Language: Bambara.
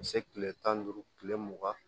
Ka se kile tan ni duuru kile mugan